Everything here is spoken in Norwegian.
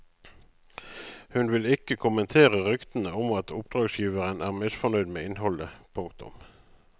Hun vil ikke kommentere ryktene om at oppdragsgiveren er misfornøyd med innholdet. punktum